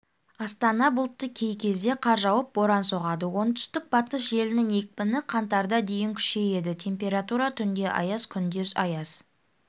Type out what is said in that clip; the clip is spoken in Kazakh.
астана бұлтты кей кезде қар жауып боран соғады оңтүстік-батыс желінің екпіні қаңтарда дейін күшейеді температура түнде аяз күндіз аяз